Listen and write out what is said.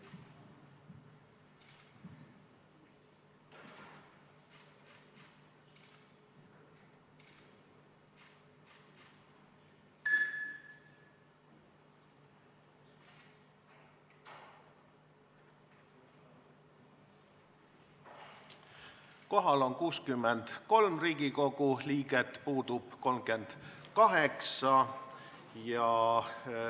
Kohaloleku kontroll Kohal on 63 Riigikogu liiget, puudub 38.